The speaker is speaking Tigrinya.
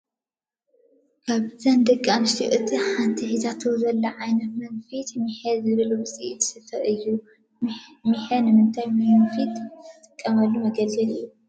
ካብዘን ደቂ ኣንስትዮ እታ ሓንቲ ሒዛቶ ዘላ ዓይነት መንፊት ሚሐ ዝብሃል ውፅኢት ስፈ እዩ፡፡ ሚሐ ንምንታይ መንፈዪ ዝጠቅም መገልገሊ እዩ?